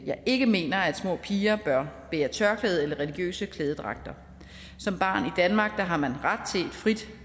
jeg ikke mener at små piger bør bære tørklæde eller religiøse klædedragter som barn i danmark har man ret til et frit